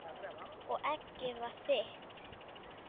Og eggið var þitt!